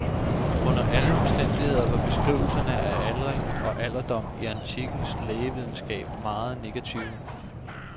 Under alle omstændigheder var beskrivelserne af aldring og alderdom i antikkens lægevidenskab meget negative.